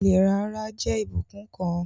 Ìlera ara jẹ́ ìbùkún kan